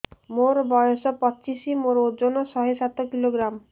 ମୋର ବୟସ ପଚିଶି ମୋର ଓଜନ ଶହେ ସାତ କିଲୋଗ୍ରାମ